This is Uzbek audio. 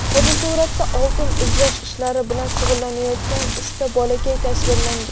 Fotosuratda oltin izlash ishlari bilan shug‘ullanayotgan uchta bolakay tasvirlangan.